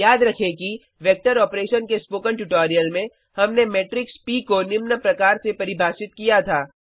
याद रखें कि वेक्टर ऑपरेशन के स्पोकन ट्यूटोरियल में हमने मेट्रिक्स प को निम्न प्रकार से परिभाषित किया था